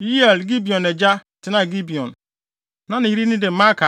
Yeiel (Gibeon agya) tenaa Gibeon. Na ne yere din de Maaka,